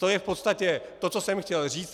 To je v podstatě to, co jsem chtěl říct.